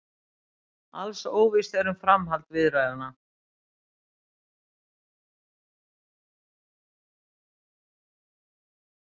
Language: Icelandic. Alls óvíst um framhald viðræðna